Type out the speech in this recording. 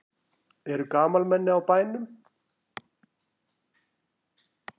Eru gamalmenni á bænum?